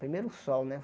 Primeiro o sol, né?